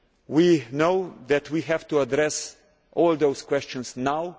We know that we have to address all those questions now.